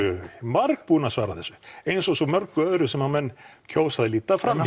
marg búinn að svara þessu eins og svo mörgu öðru sem menn kjósa að líta fram